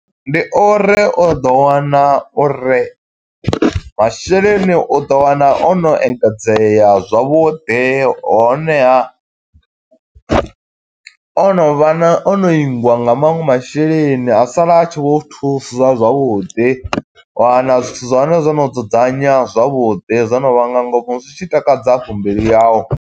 Ndi uri u ḓo wana uri masheleni u ḓo wana o no engedzea zwavhuḓi. Honeha, o no vha na, o no ingwa nga maṅwe masheleni, a sala a tshi vho thusa zwavhuḓi. Wa wana zwithu zwa hone zwo no dzudzanya zwavhuḓi, zwo no vha nga ngomu, zwi tshi takadza hafhu mbilu yau.